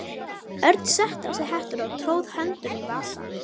Örn setti á sig hettuna og tróð höndum í vasa.